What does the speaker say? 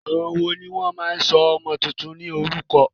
Àwọn wòó ní o máa ń sọ ọmọ túntún ní orúkọ?